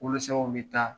Wolonsɛgɛw bɛ taa